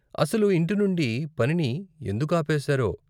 అసలు ఇంటి నుండి పనిని ఎందుకు ఆపేసారో?